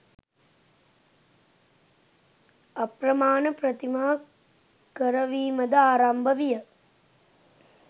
අප්‍රමාණ ප්‍රතිමා කරවීමද ආරම්භ විය.